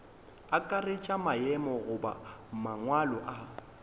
akaretša maemo goba mangwalo a